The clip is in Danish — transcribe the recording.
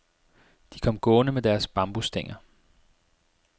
De kom gående med deres bambusstænger.